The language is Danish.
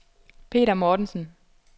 Peter Mortensen